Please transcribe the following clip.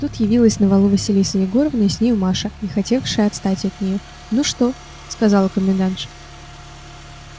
тут явилась на валу василиса егоровна и с нею маша не хотевшая отстать от нее ну что сказала комендантша